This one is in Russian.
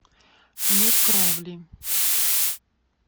мир кровли